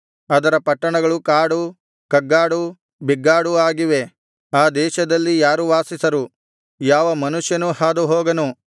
ಅದರ ಪಟ್ಟಣಗಳು ಕಾಡು ಕಗ್ಗಾಡು ಬೆಗ್ಗಾಡೂ ಆಗಿವೆ ಆ ದೇಶದಲ್ಲಿ ಯಾರೂ ವಾಸಿಸರು ಯಾವ ಮನುಷ್ಯನೂ ಹಾದು ಹೋಗನು